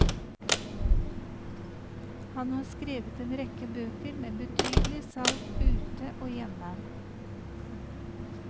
Han har skrevet en rekke bøker med betydelig salg ute og hjemme.